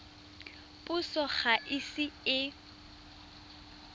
puso ga e ise e